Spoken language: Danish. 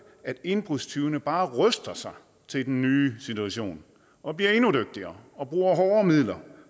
at indbrudstyvene bare ruster sig til den nye situation og bliver endnu dygtigere og bruger hårdere midler